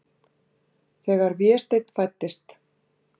Þegar Vésteinn fæddist.